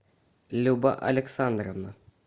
люба александровна